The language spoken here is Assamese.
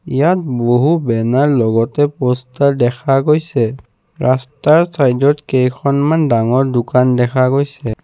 ইয়াত বহু বেনাৰ লগতে প'ষ্টাৰ দেখা গৈছে ৰাস্তাৰ ছাইদত কেইখনমান ডাঙৰ দোকান দেখা গৈছে।